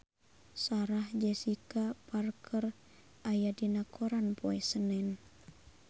Sarah Jessica Parker aya dina koran poe Senen